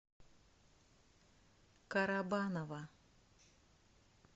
карабаново